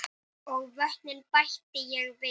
Hún reynir að skilja allt.